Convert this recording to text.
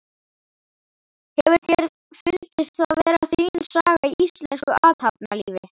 Hefur þér fundist það vera þín saga í íslensku athafnalífi?